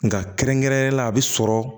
Nka kɛrɛnkɛrɛnnenya la a bɛ sɔrɔ